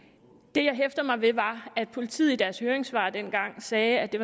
det jeg hæftede mig ved var at politiet i deres høringssvar dengang sagde at det